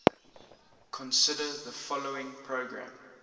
consider the following program